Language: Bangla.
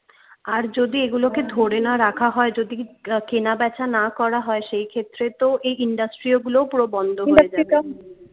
আর যদি এগুলোকে ধরে না রাখা হয় যদি কেনাবেচা না করা হয় সেই ক্ষেত্রে তো এই industry ওগুলোও পুরো বন্ধ